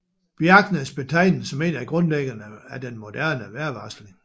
Bjerknes betegner som en af grundlæggerne af den moderne vejrvarsling